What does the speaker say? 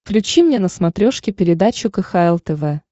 включи мне на смотрешке передачу кхл тв